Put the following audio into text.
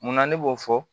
Munna ne b'o fɔ